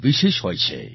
વિશેષ હોય છે